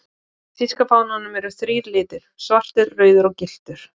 Í þýska fánanum eru þrír litir, svartur, rauður og gylltur.